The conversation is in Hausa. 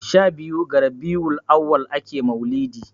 shabiyu ga rabiul auwal ake maulidi